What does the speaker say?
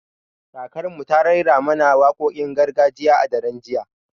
Kakar mu ta raira mana wakokin gargajiya a daren jiya